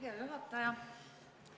Hea juhataja!